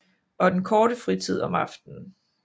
Og den korte fritid om aftenen